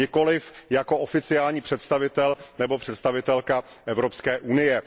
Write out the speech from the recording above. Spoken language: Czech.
Nikoliv jako oficiální představitel nebo představitelka Evropské unie.